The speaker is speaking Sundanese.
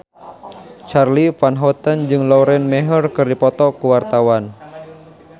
Charly Van Houten jeung Lauren Maher keur dipoto ku wartawan